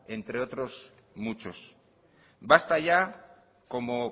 entre otros muchos basta ya como